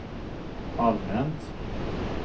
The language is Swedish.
allmänt